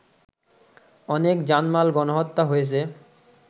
অনেক জানমাল, গণহত্যা হয়েছে